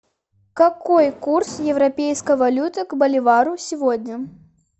какой курс европейской валюты к боливару сегодня